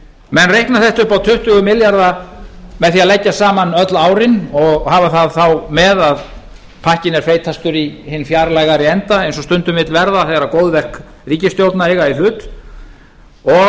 menn reikna þetta upp á tuttugu milljarða með því að leggja saman öll árin og hafa það þá með að pakkinn er feitastur í hinn fjarlægari enda eins og stundum vill verða þegar góðverk ríkisstjórna eiga í hlut og